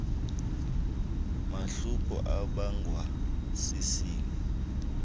mahluko obangwa sisini